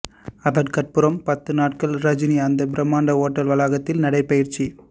அதற்கப்புறம் பத்து நாட்கள் ரஜினி அந்த பிரமாண்ட ஓட்டல் வளாகத்தில் நடைபயிற்சி